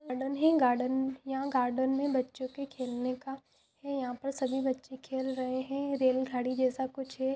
Garden हैगार्डन यहा garden मे बच्चों के खेलने का हैयहा सभी बच्चे खेल रहे है रेल गाड़ी जेसा कुछ है ।